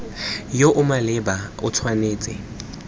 yo o maleba o tshwanetse